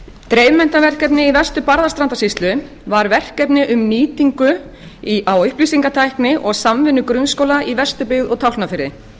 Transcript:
dreifmenntaverkefni í vestur barðastrandarsýslu var verkefni un nýtingu á upplýsingatækni og samvinnu grunnskóla í vesturbyggð og tálknafirði